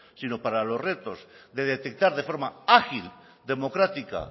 sino para los retos de detectar de forma ágil democrática